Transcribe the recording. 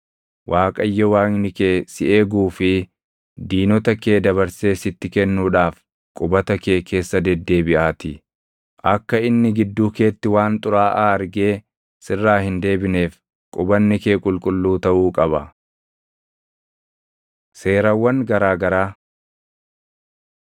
Waaqayyo Waaqni kee si eeguu fi diinota kee dabarsee sitti kennuudhaaf qubata kee keessa deddeebiʼaatii; akka inni gidduu keetti waan xuraaʼaa argee sirraa hin deebineef qubanni kee qulqulluu taʼuu qaba. Seerawwan Garaa garaa